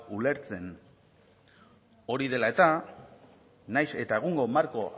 ulertzen hori dela eta nahiz eta egungo marko